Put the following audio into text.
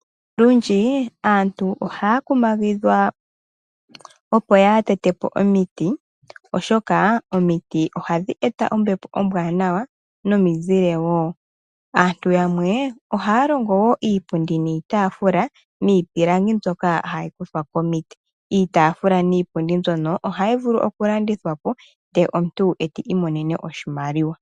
Olundji aantu ohaya kumagidhwa opo yaa tete po omiti oshoka omiti ohadhi eta ombepo ombwanawa nomizile wo. Aantu yamwe ohaya longo wo iipundi niitaafula miipilangi mbyoka hayi kuthwa komiti. Iitaafula niipundi mbyono ohayi vulu oku landithwa po ndele omuntu eto imonene oshimaliwa.